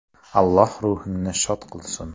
Alloh ruhingni shod qilsin.